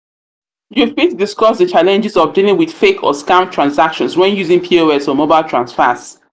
you fit discuss di challenges of dealing with fake or scam transactions when using pos or mobile transfers.